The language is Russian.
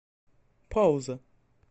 пауза